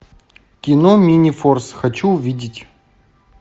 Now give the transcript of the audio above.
кино минифорс хочу увидеть